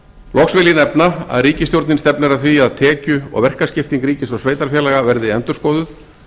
loks vil ég nefna að ríkisstjórnin stefnir að því að tekju og verkaskipting milli ríkis og sveitarfélaga verði endurskoðuð